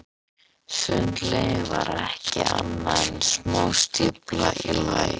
Sundlaugin var ekki annað en smástífla í læk.